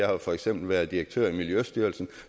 jo for eksempel været direktør i miljøstyrelsen